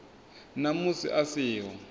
na musi a si ho